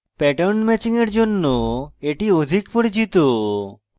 pattern matching এর জন্য এটি অধিক পরিচিত